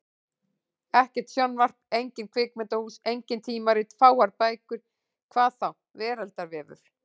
Ekkert sjónvarp, engin kvikmyndahús, engin tímarit, fáar bækur. hvað þá veraldarvefur!